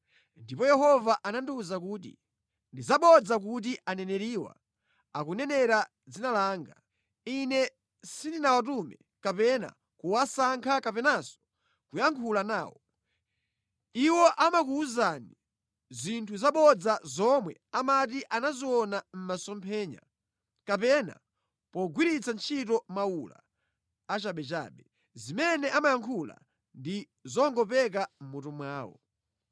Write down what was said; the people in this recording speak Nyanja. Ndipo Yehova anandiwuza kuti, “Ndi zabodza kuti aneneriwa akunenera mʼdzina langa. Ine sindinawatume kapena kuwasankha kapenanso kuyankhula nawo. Iwo amakuwuzani zinthu zabodza zomwe amati anaziona mʼmasomphenya, kapena pogwiritsa ntchito mawula achabechabe. Zimene amayankhula ndi zongopeka mʼmutu mwawo.